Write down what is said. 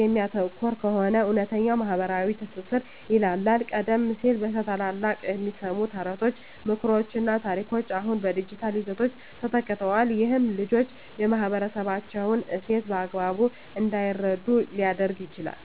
የሚያተኩር ከሆነ፣ እውነተኛው ማኅበራዊ ትስስር ይላላል። ቀደም ሲል ከታላላቆች የሚሰሙ ተረቶች፣ ምክሮችና ታሪኮች አሁን በዲጂታል ይዘቶች ተተክተዋል። ይህም ልጆች የማኅበረሰባቸውን እሴት በአግባቡ እንዳይረዱ ሊያደርግ ይችላል።